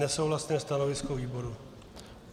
Nesouhlasné stanovisko výboru.